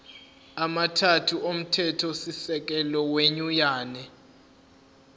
amathathu omthethosisekelo wenyunyane